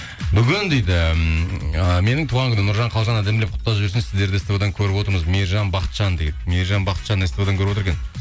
бүгін дейді ммм ы менің туған күнім нұржан қалжан әдемілеп құттықтап жіберсінші сіздерді ств дан көріп отырмыз мейіржан бақытжан дейді мейіржан бақытжан ств дан көріп отыр екен